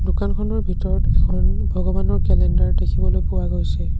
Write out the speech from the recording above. দোকানখনৰ ভিতৰত এখন ভগৱানৰ কেলেণ্ডাৰ দেখিবলৈ পোৱা গৈছে।